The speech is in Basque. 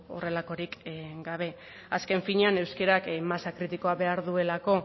horrelakorik gabe azken finean euskarak masa kritikoa behar duelako